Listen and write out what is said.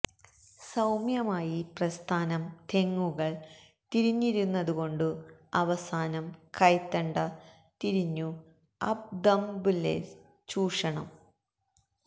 സൌമ്യമായി പ്രസ്ഥാനം തെങ്ങുകൾ തിരിഞ്ഞിരുന്നതുകൊണ്ടു അവസാനം കൈത്തണ്ട തിരിഞ്ഞു അപ്പ് ദുംബ്ബെല്ല്സ് ചൂഷണം